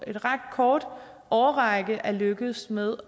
af en ret kort årrække er lykkedes med